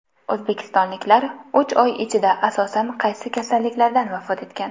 O‘zbekistonliklar uch oy ichida asosan qaysi kasalliklardan vafot etgan?.